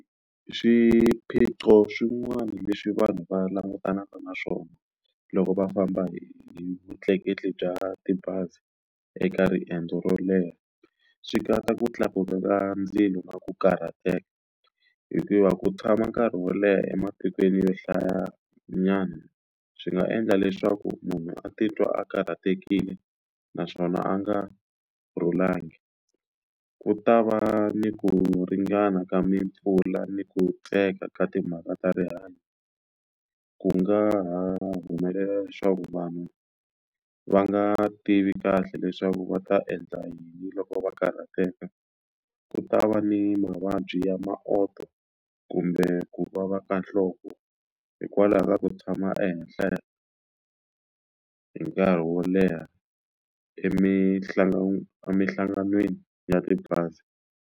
Swiphiqo swin'wana leswi vanhu va langutanaka na swona loko va famba hi vutleketli bya tibazi eka riendzo ro leha swi katsa ku tlakuka ka ndzilo na ku karhateka hikuva ku tshama nkarhi wo leha ematikweni yo hlaya nyana swi nga endla leswaku munhu a titwa a karhatekile naswona a nga vulangi ku ta va ni ku ringana ka mpfula ni ku tsandzeka ka timhaka ta rihanyo ku nga humelela leswaku vanhu va nga tivi kahle leswaku va ta endla yini loko va karhateka ku ta va ni mavabyi ya mapoto kumbe ku vava ka nhloko hikwalaho ka ku tshama ehenhla hi nkarhi wo leha emihlanganweni emihlanganweni ya tibazi.